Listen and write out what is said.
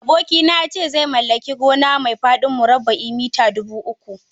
Abokina ya ce zai mallaki gona mai faɗin murabba'i mita dubu uku.